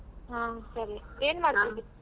ಹಾ ಸರಿ ಏನ್ ?